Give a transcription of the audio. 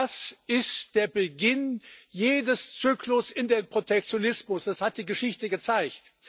Das ist der Beginn jedes Zyklus in den Protektionismus das hat die Geschichte gezeigt.